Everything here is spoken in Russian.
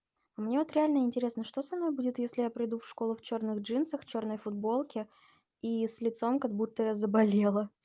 мне вот реально интересно что со мной будет если я приду в школу в чёрных джинсах в чёрной футболке и с лицом как будто я заболела